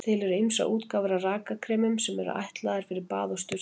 Til eru ýmsar útgáfur af rakakremum sem ætlaðar eru fyrir bað og sturtu.